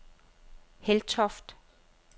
Heltoft